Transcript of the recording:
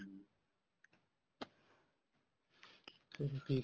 ਚਲੋ ਠੀਕ